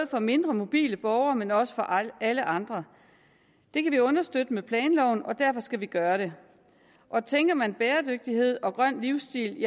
for mindre mobile borgere men også for alle andre det kan vi understøtte med planloven og derfor skal vi gøre det og tænker man i bæredygtighed og grøn livsstil